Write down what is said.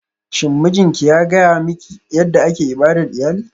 Shin mijinki ya gaya miki yadda ake ibadar iyali?